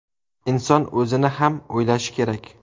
Inson o‘zini ham o‘ylashi kerak.